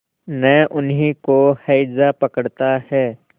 न उन्हीं को हैजा पकड़ता है